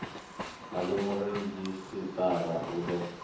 a ii muredzhisitarara u ḓo